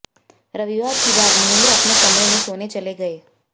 रविवार की रात महेंद्र अपने कमरे में सोने चले गए